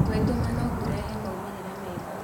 Gwĩtũma no kũrehe maumĩrĩra mega.